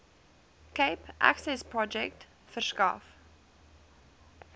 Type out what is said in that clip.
cape accessprojek verskaf